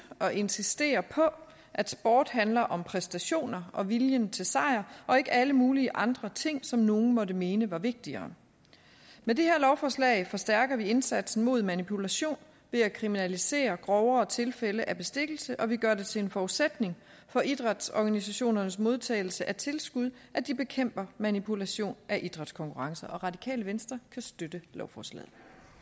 og insistere på at sport handler om præstationer og viljen til sejr og ikke alle mulige andre ting som nogle måtte mene var vigtigere med det her lovforslag forstærker vi indsatsen mod manipulation ved at kriminalisere grovere tilfælde af bestikkelse og vi gør det til en forudsætning for idrætsorganisationernes modtagelse af tilskud at de bekæmper manipulation af idrætskonkurrencer radikale venstre kan støtte lovforslaget